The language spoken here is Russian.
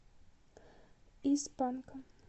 из панка